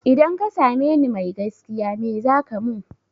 Idan ka same ni mai gaskiya me zaka mun?